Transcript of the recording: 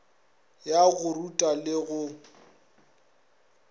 ya go ruta le go